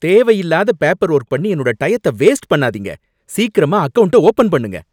தேவையில்லாத paper work பண்ணி என்னோட டயத்த வேஸ்ட் பண்ணாதீங்க. சீக்கிரமா அக்கவுண்ட்ட ஓபன் பண்ணுங்க!